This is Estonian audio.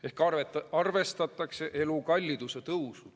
" Ehk siis arvestatakse elukalliduse tõusu.